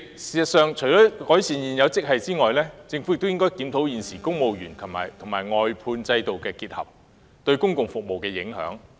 事實上，主席，除改善現有職系外，政府亦應檢討現時把公務員和外判合約承辦商僱員結合這種制度對整體公共服務的影響。